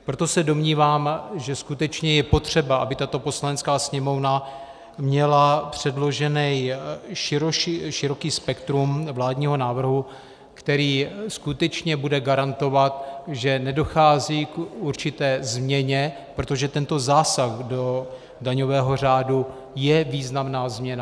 Proto se domnívám, že skutečně je potřeba, aby tato Poslanecká sněmovna měla předložené široké spektrum vládního návrhu, který skutečně bude garantovat, že nedochází k určité změně, protože tento zásah do daňového řádu je významná změna.